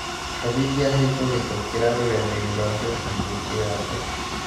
cabithia heykũhītũkīra rũrenda rũa facebook yakwa